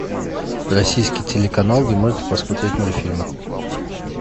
российский телеканал где можно посмотреть мультфильмы